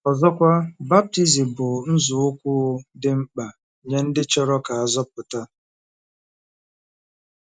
Ọzọkwa, baptizim bụ nzọụkwụ dị mkpa nye ndị chọrọ ka a zọpụta..